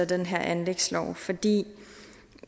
den her anlægslov fordi